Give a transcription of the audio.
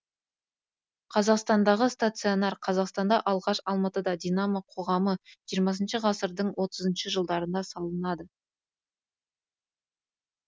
қазақстандағы стадиондар қазақстанда алғаш алматыда динамо қоғамы жиырмасыншы ғасырдың отызыншы жылдарында салынады